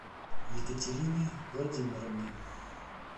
екатерине владимировне